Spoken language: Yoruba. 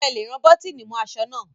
Sé ẹ lè rán bọ́tìnì mọ́ aṣọ náà?